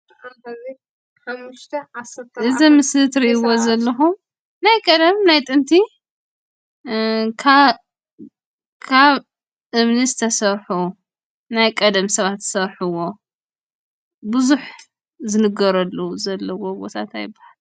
እዚ ኣብ ምስሊ ትሪእዎ ዘለኹም ናይ ቀደም ናይ ጥንቲ እ ካብ ካብ እምኒ ዝተሰርሑ ናይ ቀደም ሰባት ዝሰርሕዎ ብዙሕ ዝንገረሉ ዘለዎ ቦታ እንታይ ይባሃል?